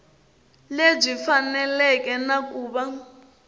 lebyi faneleke na ku va